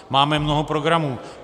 Máme mnoho programů.